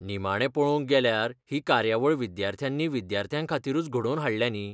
निमाणें पळोवंक गेल्यार ही कार्यावळ विद्यार्थ्यांनी विद्यार्थ्यांखातीरूच घडोवन हाडल्या न्ही.